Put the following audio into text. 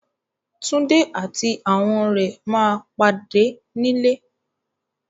Túndé àti àwọn rẹ̀ ma pàdé nílé